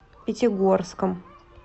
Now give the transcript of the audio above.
пятигорском